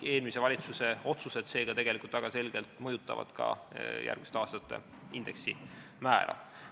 Eelmise valitsuse otsused väga selgelt mõjutavad ka järgmiste aastate indeksi määra.